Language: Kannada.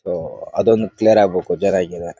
ಓಹ್ ಅದು ಒಂದು ಕ್ಲಿಯರ್ ಆಗಬೇಕು ಜರಗಿರೆ.